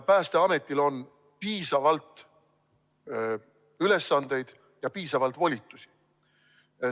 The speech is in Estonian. Päästeametil on piisavalt ülesandeid ja piisavalt volitusi.